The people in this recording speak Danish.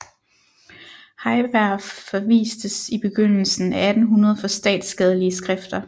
Heiberg forvistes i begyndelsen af 1800 for statsskadelige skrifter